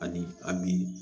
Ani a bi